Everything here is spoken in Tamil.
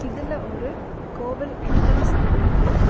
இதுல ஒரு கோவில் என்ட்ரன்ஸ் தெரியிது.